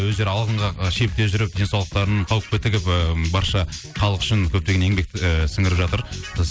өздері шекте жүріп денсаулықтарын қауіпке тігіп барша халық үшін көптеген еңбек ііі сіңіріп жатыр біз